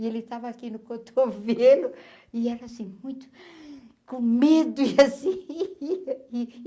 E ele estava aqui no cotovelo e era assim muito com medo e assim.